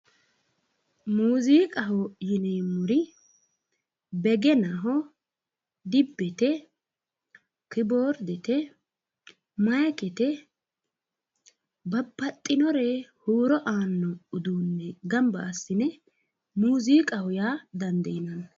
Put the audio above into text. Muuziiqaho yineemmori begenaho, dibbete kiboordete maayiikete babbaxxinore huuro aanno uduunne gamba assine muuziiqaho yaa dandiineemmo.